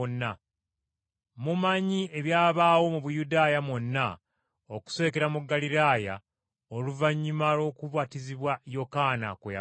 Mumanyi ebyabaawo mu Buyudaaya mwonna okusookera mu Ggaliraaya oluvannyuma lw’okubatizibwa Yokaana kwe yabuulira.